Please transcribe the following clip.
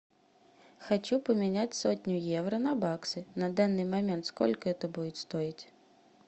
хочу поменять сотню евро на баксы на данный момент сколько это будет стоить